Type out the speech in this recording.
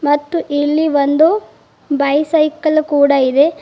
ಮತ್ತು ಇಲ್ಲಿ ಒಂದು ಬೈಸೈಕಲ್ ಕೂಡ ಇದೆ.